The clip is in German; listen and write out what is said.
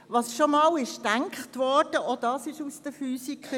«Was schon einmal gedacht wurde, kann man nicht mehr zurücknehmen.